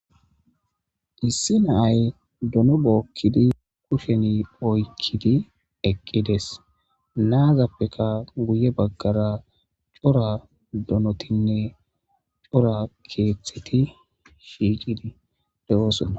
Issi naay dono bookkidi kusheni oykkidi eqqides naazappeka guye baggara cora donotinne cora keeththeti shiicidi de7oosona.